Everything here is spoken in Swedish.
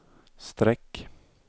streck